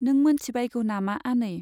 नों मोनथिबायगौ नामा आनै ?